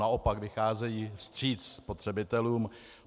Naopak, vycházejí vstříc spotřebitelům.